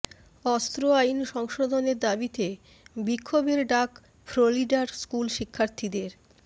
অস্ত্র আইন সংশোধনের দাবিতে বিক্ষোভের ডাক ফ্লোরিডার স্কুল শিক্ষার্থীদের